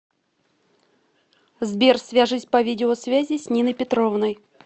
сбер свяжись по видеосвязи с ниной петровной